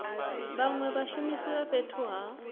vhanwe vhashumisi vha fhethu ha